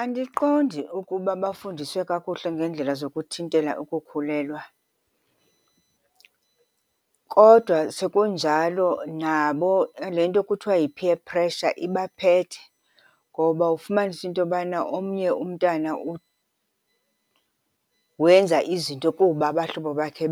Andiqondi ukuba bafundiswe kakuhle ngeendlela zokuthintela ukukhulelwa. Kodwa sekunjalo nabo le nto kuthiwa yi-peer pressure ibaphethe ngoba ufumanise into yobana omnye umntana wenza izinto kuba abahlobo bakhe